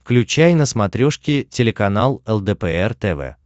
включай на смотрешке телеканал лдпр тв